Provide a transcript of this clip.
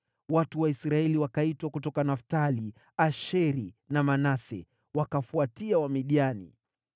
Watu wa Israeli wakaitwa kutoka Naftali, Asheri na Manase, wakawafuatia Wamidiani.